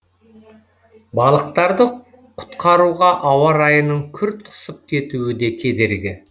балықтарды құтқаруға ауа райының күрт ысып кетуі де кедергі